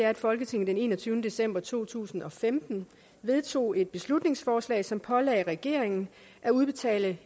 at folketinget den enogtyvende december to tusind og femten vedtog et beslutningsforslag som pålagde regeringen at udbetale